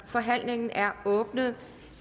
forhandlingen er åbnet